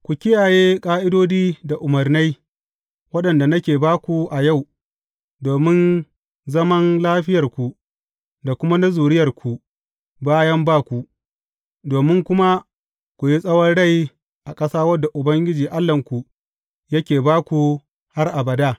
Ku kiyaye ƙa’idodi da umarnai, waɗanda nake ba ku a yau, domin zaman lafiyarku da kuma na zuriyarku bayan ba ku, domin kuma ku yi tsawon rai a ƙasa wadda Ubangiji Allahnku yake ba ku har abada.